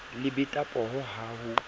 le beta pooho ha o